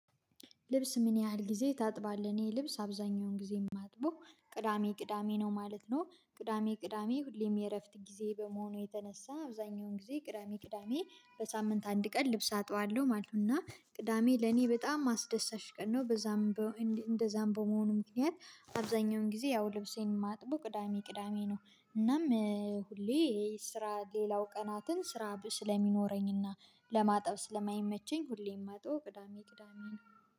ልብስ ምን ያህል ጊዜ ታጥባለህ? እኔ ልብስ አብዛኛውን ጊዜ የማጥበው ቅዳሜ ቅዳሜ ነው ማለት ነው ቅዳሜ ቅዳሜ ሁሌም የእረፍት ጊዜ በመሆኑ የተነሳ አብዛኛውን ጊዜ ቅዳሜ ቅዳሜ በሳምንት አንድ ቀን ልብስ አጣዋለሁ ማለት ነው። እና ቅዳሜ ለኔ በጣም አስደሳች ቀን ነው። በዛም እንደዛም በመሆኑ ምክንያት አብዛኛውን ጊዜ ያው ልብሴን ማጥበው ቅዳሜ ቅዳሜ ነው። እናም ሁሌ ስራ ሌላው ቀናትን ስራ ስለሚኖረኝና ለማጠብ ስለማይመቸኝ ሁሌም መጥበው ቅዳሜ ቅዳሜን።